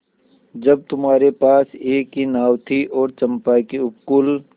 जब तुम्हारे पास एक ही नाव थी और चंपा के उपकूल